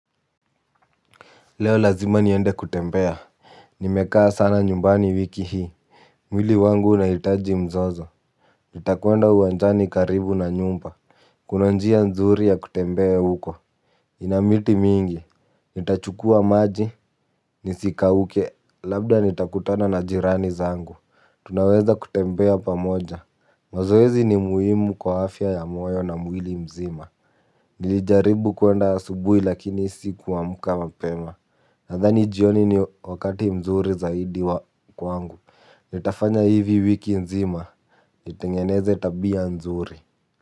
Leo lazima niende kutembea nimekaa sana nyumbani wiki hii mwili wangu unahitaji mzozo. Nitakwenda uwanjani karibu na nyumba kuna njia nzuri ya kutembea huko ina miti mingi nitachukua maji nisikauke labda nitakutana na jirani zangu tunaweza kutembea pamoja mazoezi ni muhimu kwa afya ya moyo na mwili mzima nilijaribu kuenda asubuhi lakini sikuamka mapema. Nadhani jioni ni wakati mzuri zaidi wa kwangu. Nitafanya hivi wiki nzima. Nitengeneze tabia nzuri.